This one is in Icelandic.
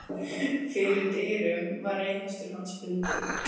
Fyrir dyrum var reiðhestur hans bundinn.